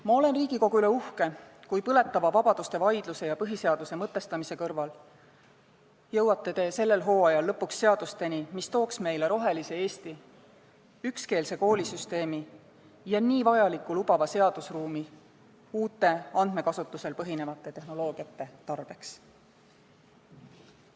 Ma olen Riigikogu üle uhke, kui te põletava vabaduseteemalise vaidluse ja põhiseaduse mõtestamise kõrval jõuate sellel hooajal ka lõpuks nende seadusteni, mis tooksid meile rohelise Eesti, ükskeelse koolisüsteemi ja niivõrd vajaliku lubava seadusruumi uute andmekasutusel põhinevate tehnoloogiate tarbeks.